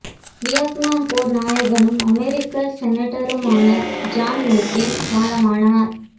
Vietnam போர் நாயகனும் அமெரிக்க செனட்டருமான ஜான் மெக்கைன் காலமானார்